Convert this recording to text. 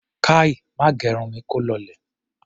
Kai! Má gẹrun mi kó lọlẹ̀!